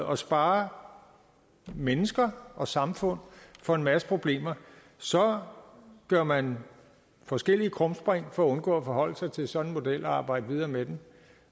og spare mennesker og samfund for en masse problemer så gør man forskellige krumspring for at undgå at forholde sig til sådan en model og arbejde videre med den